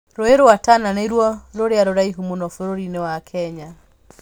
Rũũĩ rwa Tana nĩruo rũrĩa rũraihu mũno bũrũri-inĩ wa Kenya.